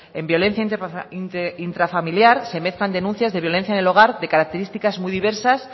en violencia intrafamiliar se mezclan denuncias de violencia en el hogar de características muy diversas